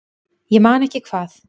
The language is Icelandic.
Ég man ekki hvað